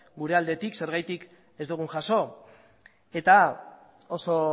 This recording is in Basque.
gure aldetik zergatik ez dugun jaso eta oso